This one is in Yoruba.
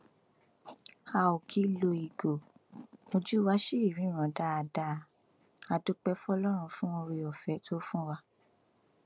a ó kì í lo ìgò ojú wa ṣì ríran dáadáa a dúpẹ fọlọrun fún oore ọfẹ tó fún wa